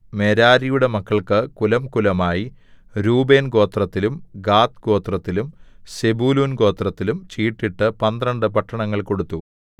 മെരാരിയുടെ മക്കൾക്ക് കുലംകുലമായി രൂബേൻ ഗോത്രത്തിലും ഗാദ്ഗോത്രത്തിലും സെബൂലൂൻ ഗോത്രത്തിലും ചീട്ടിട്ട് പന്ത്രണ്ട് പട്ടണങ്ങൾ കൊടുത്തു